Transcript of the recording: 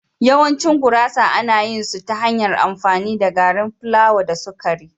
Yawancin gurasa ana yin su ta hanyar amfani da gari plawa da sukari.